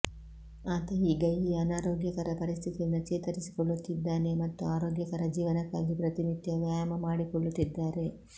ಆತ ಈಗ ಈ ಅನಾರೋಗ್ಯಕರ ಪರಿಸ್ಥಿತಿಯಿಂದ ಚೇತರಿಸಿಕೊಳ್ಳುತ್ತಿದ್ದಾನೆ ಮತ್ತು ಆರೋಗ್ಯಕರ ಜೀವನಕ್ಕಾಗಿ ಪ್ರತಿನಿತ್ಯವೂ ವ್ಯಾಯಾಮ ಮಾಡಿಕೊಳ್ಳುತ್ತಿದ್ದಾರೆ